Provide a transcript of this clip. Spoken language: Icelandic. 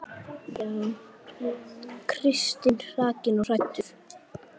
Kristur hrakinn og hæddur.